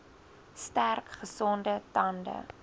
sterk gesonde tande